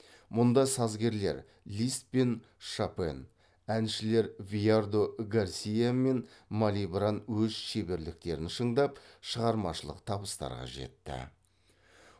мұнда сазгерлер лист пен шопен әншілер виардо гарсиа мен малибран өз шеберліктерін шыңдап шығармашылық табыстарға жетті